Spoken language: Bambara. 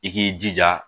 I k'i jija